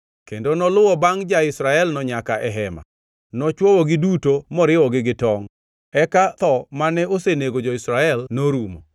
kendo noluwo bangʼ ja-Israelno nyaka e hema. Nochwowogi duto moriwogi gi tongʼ. Eka tho mane osenego jo-Israel norumo;